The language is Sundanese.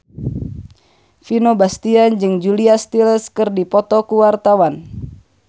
Vino Bastian jeung Julia Stiles keur dipoto ku wartawan